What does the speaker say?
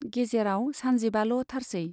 गेजेराव सानजिबाल' थारसै।